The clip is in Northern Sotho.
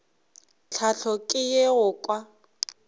tlhahlo ke ye go kwa